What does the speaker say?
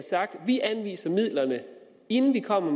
sagt vi anviser midlerne inden vi kommer